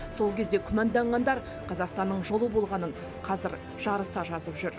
сол кезде күмәнданғандар қазақстанның жолы болғанын қазір жарыса жазып жүр